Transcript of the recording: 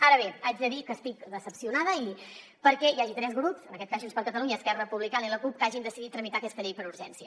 ara bé haig de dir que estic decebuda perquè hi hagi tres grups en aquest cas junts per catalunya esquerra republicana i la cup que hagin decidit tramitar aquesta llei per urgència